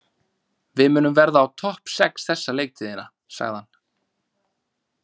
Við munum verða á topp sex þessa leiktíðina, sagði hann.